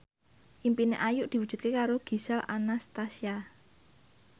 impine Ayu diwujudke karo Gisel Anastasia